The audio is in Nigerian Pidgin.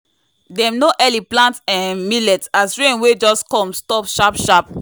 dem no early plant um millet as rain wey just come stop sharp-sharp.